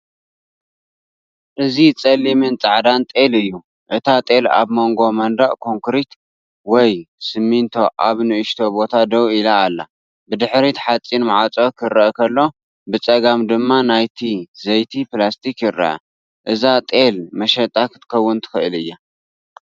እዚ ጸሊምን ጻዕዳን ጤል እዩ። እታ ጤል ኣብ መንጎ መንደቕ ኮንክሪት ወይ ሲሚንቶ ኣብ ንእሽቶ ቦታ ደው ኢላ ኣላ። ብድሕሪት ሓፂን ማዕጾ ክርአ ከሎ ብጸጋም ድማ ናይ ዘይቲ ፕላስቲክ ይርአ። እዛ ጤልንመሸጣ ክትከውን ትኽእል እያ።